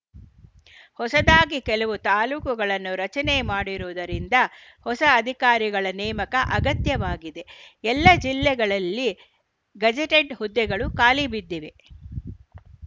ಹೊಸದಾಗಿ ಕೆಲವು ತಾಲೂಕುಗಳನ್ನು ರಚನೆ ಮಾಡಿರುವುದರಿಂದ ಹೊಸ ಅಧಿಕಾರಿಗಳ ನೇಮಕ ಅಗತ್ಯವಾಗಿದೆ ಎಲ್ಲ ಜಿಲ್ಲೆಗಳಲ್ಲಿ ಗೆಜೆಟೆಡ್‌ ಹುದ್ದೆಗಳು ಖಾಲಿಬಿದ್ದಿವೆ